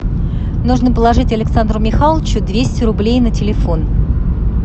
нужно положить александру михайловичу двести рублей на телефон